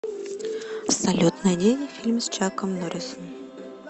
салют найди фильм с чаком норрисом